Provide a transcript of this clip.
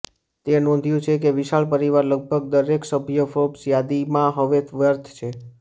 તે નોંધ્યું છે કે વિશાળ પરિવાર લગભગ દરેક સભ્ય ફોર્બ્સ યાદીમાં હવે વર્થ છે